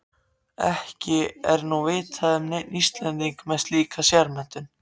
Ekki er nú vitað um neinn Íslending með slíka sérmenntun.